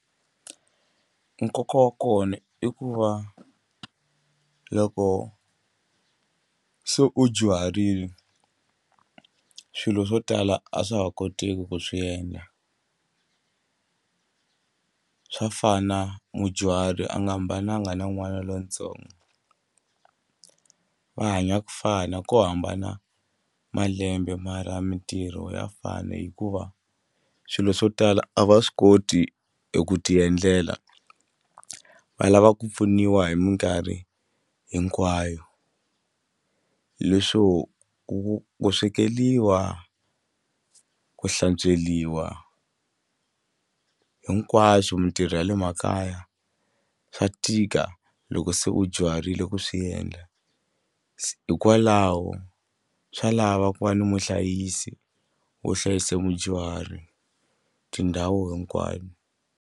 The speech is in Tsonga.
Nkoka wa kona i ku va loko se u dyuharile swilo swo tala a swa ha koteki ku swi endla swa fana mudyuhari a nga hambananga na n'wana lontsongo va hanya ku fana ko hambana malembe mara mitirho ya fana hikuva or swilo swo tala a va swi koti ku e tiendlela va lava ku pfuniwa hi mikarhi hinkwayo leswo ku ku swekeliwa ku hlantsweriwa hinkwaswo mitirho ya le makaya swa tika loko se u dyuharile ku swiendla hikwalaho swa lava ku va na muhlayisi wo hlayisa mudyuhari tindhawu hinkwayo.